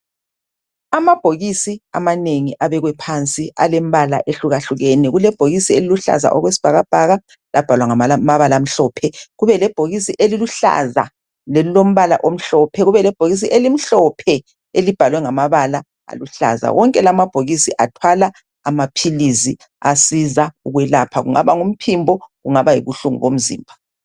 Amabhokisi amanengi abekwe phansi alemibala ehlukahlukene. Kulebhokisi eliluhlaza okwesibhakabhaka labhalwa ngamabala amhlophe, kubelebhokisi eliluhlaza lelilombala omhlophe, kubelebhokisi elimhlophe elibhalwe ngamabala aluhlaza. Wonke la amabhokisi athwala amaphilizi asiza ukwelapha. Kungaba ngumphimbo kungaba yibuhlungu bomzimba.